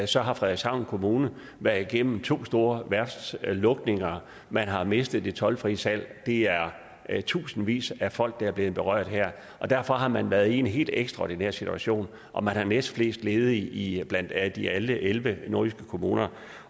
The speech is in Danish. så har frederikshavn kommune været igennem to store værftslukninger man har mistet det toldfri salg det er tusindvis af folk der er blevet berørt her og derfor har man været i en helt ekstraordinær situation og man har næstflest ledige blandt alle de elleve elleve nordjyske kommuner